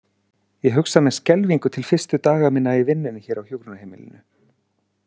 Ég hugsa með skelfingu til fyrstu daga minna í vinnunni hér á hjúkrunarheimilinu.